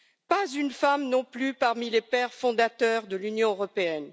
Pas une femme non plus parmi les pères fondateurs de l'Union européenne.